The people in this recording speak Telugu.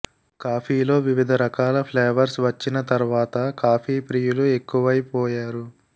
కాఫీలో వివిధ రకాల ఫ్లేవర్స్ వచ్చిన తర్వాత కాఫీ ప్రియులు ఎక్కువైపోయారు